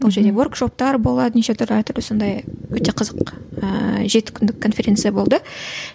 ол жерде оргшоптар болады неше түрлі әртүрлі сондай өте қызық ііі жеті күндік конференция болды